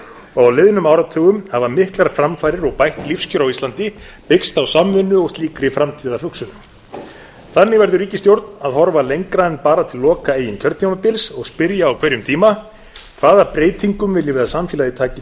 og á liðnum áratugum hafa miklar framfarir og bætt lífskjör á íslandi byggst á samvinnu og slíkri framtíðarhugsun þannig verður ríkisstjórn að horfa lengra en bara til loka eigin kjörtímabils og spyrja á hverjum tíma hvaða breytingum viljum við að samfélagið taki